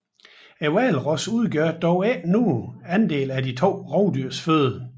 Hvalrossen udgør dog ingen stor andel af de to rovdyrs føde